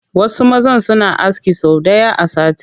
Wasu mazan suna aski sau ɗaya a sati